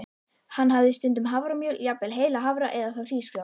Hann hafði stundum haframjöl, jafnvel heila hafra, eða þá hrísgrjón.